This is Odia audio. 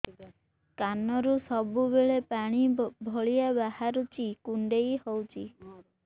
କାନରୁ ସବୁବେଳେ ପାଣି ଭଳିଆ ବାହାରୁଚି କୁଣ୍ଡେଇ ହଉଚି